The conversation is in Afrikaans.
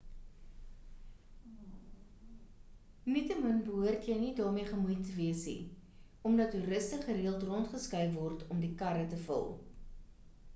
nietemin behoort jy nie daarmee gemoeid wees nie omdat toeriste gereeld rondgeskuif word om die karre te vul